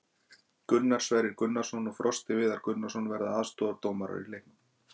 Gunnar Sverrir Gunnarsson og Frosti Viðar Gunnarsson verða aðstoðardómarar í leiknum.